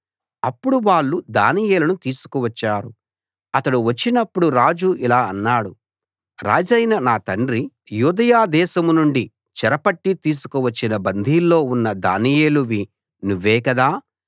అప్పుడు వాళ్ళు దానియేలును తీసుకువచ్చారు అతడు వచ్చినప్పుడు రాజు ఇలా అన్నాడు రాజైన నా తండ్రి యూదయ దేశం నుండి చెరపట్టి తీసుకువచ్చిన బందీల్లో ఉన్న దానియేలువి నువ్వే కదా